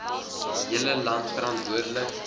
hele land verantwoordelik